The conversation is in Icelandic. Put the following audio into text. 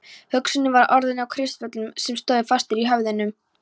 Hugsunin var orðin að kristöllum sem stóðu fastir í höfðinu.